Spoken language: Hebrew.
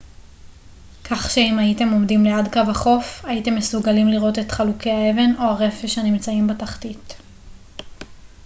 כך שאם הייתם עומדים ליד קו החוף הייתם מסוגלים לראות את כל חלוקי האבן או הרפש הנמצאים בתחתית